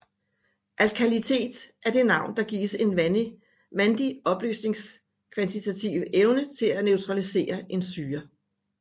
Alkalinitet er det navn der gives en vandig opløsnings kvantitative evne til at neutralisere en syre